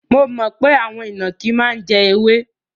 Mo mọ̀ pé àwọn ìnàkí máa ń jẹ ewé.